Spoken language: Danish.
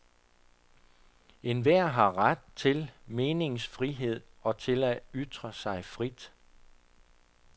Enhver har ret til meningsfrihed og til at ytre sig frit.